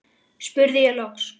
spurði ég loks.